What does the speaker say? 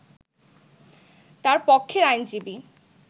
তার পক্ষের আইনজীবী